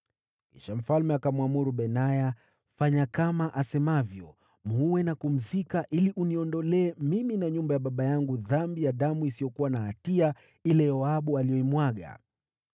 Kisha mfalme akamwamuru Benaya, “Fanya kama asemavyo. Muue na kumzika, ili uniondolee mimi na nyumba ya baba yangu dhambi ya damu isiyokuwa na hatia ile Yoabu aliyoimwaga.